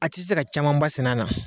A tɛ se ka caman ba sɛnɛ a la.